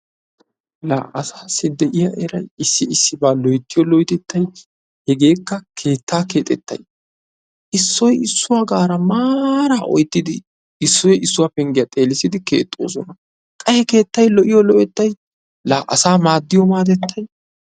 La asaassi de"iya eratettay issi Issibaa loyttiyo loytettayi hegeekka keettaa keexettayi Issoyi issuwagaara maaraa oyttidi Issoyi issuwa penggiya xeelissidi keexxoosona. Qa he keettayi lo'iyo lo'ettayi la asaa maaddiyo maadettayi.